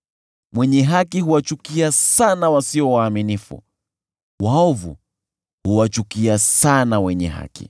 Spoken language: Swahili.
Mwenye haki huwachukia sana wasio waaminifu; waovu huwachukia sana wenye haki.